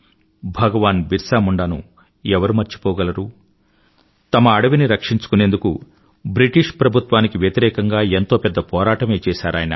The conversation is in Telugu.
భగవాన్ బిర్సా ముండాను ఎవరు మర్చిపోగలరు తన అడవిని రక్షించుకుందుకు బ్రిటీష్ ప్రభుత్వానికి వ్యతిరేకంగా ఎంతో పెద్ద పోరాటమే చేశారయన